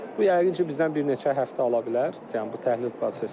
Bu yəqin ki, bizdən bir neçə həftə ala bilər, yəni bu təhlil prosesi.